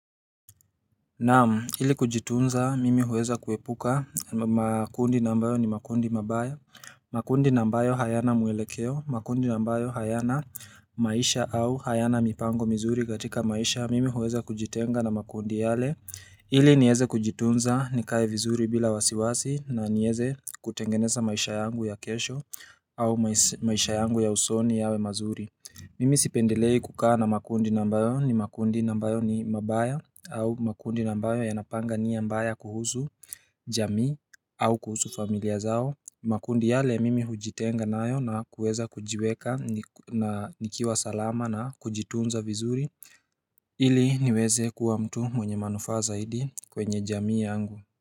Naam, ili kujitunza, mimi huweza kuepuka makundi ambayo ni makundi mabaya, makundi ambayo hayana mwelekeo, makundi ambayo hayana maisha au hayana mipango mizuri katika maisha, mimi huweza kujitenga na makundi yale, ili niweze kujitunza ni kai vizuri bila wasiwasi na niweze kutengeneza maisha yangu ya kesho au maisha yangu ya usoni yawe mazuri. Mimi sipendelei kukaa na makundi ambayo ni makundi ambayo ni mabaya au makundi ambayo yanapanga nia mbaya kuhusu jamii au kuhusu familia zao makundi yale mimi hujitenga nayo na kuweza kujiweka na nikiwa salama na kujitunza vizuri ili niweze kuwa mtu mwenye manufaa zaidi kwenye jamii yangu.